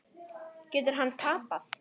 Getur hann tapað!